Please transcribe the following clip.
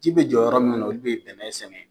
Ji bɛ jɔ yɔrɔ minnu na olu de bɛ bɛnɛ sɛgɛn